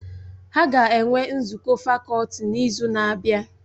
Ha ga-enwe nzukọ fakọlti n'izu na-abịa